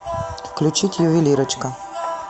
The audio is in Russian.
включить ювелирочка